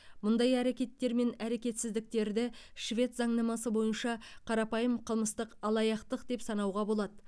мұндай әрекеттер мен әрекетсіздіктерді швед заңнамасы бойынша қарапайым қылмыстық алаяқтық деп санауға болады